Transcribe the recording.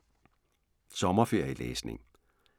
Sommerferielæsning